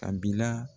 A bi la